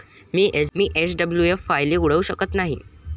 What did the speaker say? मी SWF फायली उघडू शकत नाही.